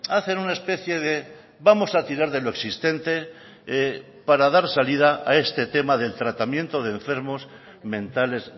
hacen una especie de vamos a tirar de lo existente para dar salida a este tema del tratamiento de enfermos mentales